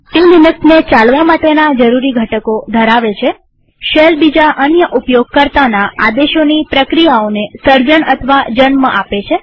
તે લિનક્સને ચલાવા માટેના જરૂરી ઘટકો ધરાવે છેશેલ બીજા અન્ય ઉપયોગકર્તાના આદેશોની પ્રક્રિયાઓને સર્જન અથવા જન્મ આપે છે